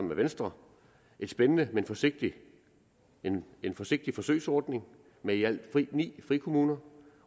med venstre en spændende men forsigtig men forsigtig forsøgsordning med i alt ni frikommuner